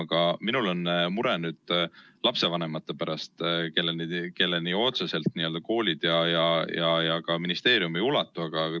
Aga minul on mure lapsevanemate pärast, kelleni otseselt koolid ja ka ministeerium ulatu.